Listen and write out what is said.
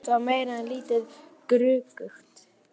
Þetta var meira en lítið gruggugt.